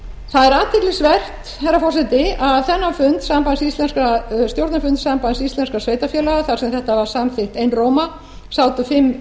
það er athyglisvert herra forseti að þennan stjórnarfund sambands íslenskum sveitarfélaga þar sem þetta var samþykkt einróma sátu fimm